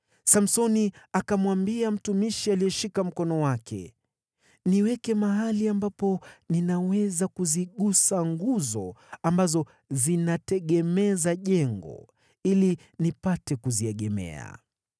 Samsoni akamwambia mtumishi aliyeshika mkono wake, “Niweke mahali ambapo ninaweza kuzigusa nguzo ambazo zinategemeza jengo ili nipate kuziegemea.”